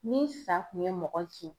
Ni sa kun ye mɔgɔ kin